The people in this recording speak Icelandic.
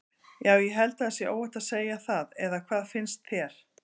Já ég held að það sé óhætt að segja það eða hvað finnst þér?